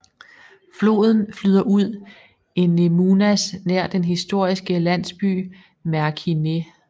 Floden flyder ud i Nemunas nær den historiske landsby Merkinė